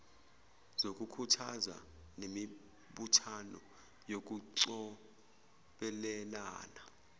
zokukhuthaza nemibuthano yokucobelelana